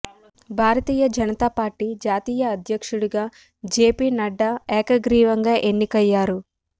భారతీయ జనతా పార్టీ జాతీయ అధ్యక్షుడిగా జేపీ నడ్డా ఏకగ్రీవంగా ఎన్నికయ్యారు